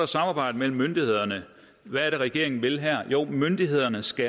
samarbejdet mellem myndighederne hvad er det regeringen vil her jo myndighederne skal